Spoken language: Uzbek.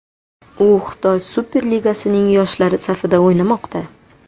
U Xitoy Super Ligasining yoshlari safida o‘ynamoqda.